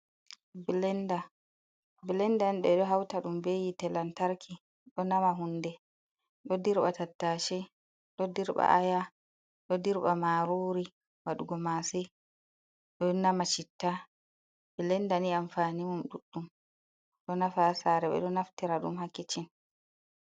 Ɓlenda, blenda ɓe ɗo hauta ɗum be hitee lantarki ɗo nama hunde ɗo ɗirba tattache, ɗo ɗirba aya, ɗo ɗirba marori waɗugo mase, ɗo nama citta, bilenda ni amfani mum duɗdum ɗo nafa sare ɓe ɗo naftira & um ha kicin.